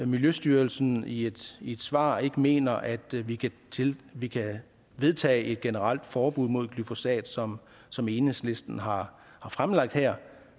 miljøstyrelsen i et i et svar ikke mener at vi kan vi kan vedtage et generelt forbud mod glyfosat som som enhedslisten har fremlagt her